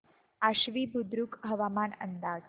आश्वी बुद्रुक हवामान अंदाज